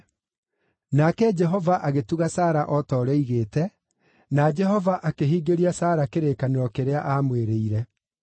Nake Jehova agĩtuga Sara o ta ũrĩa oigĩte, na Jehova akĩhingĩria Sara kĩrĩkanĩro kĩrĩa aamwĩrĩire.